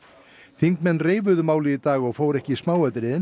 þingmenn reifuðu aðeins málið í dag og fóru ekki í smáatriðin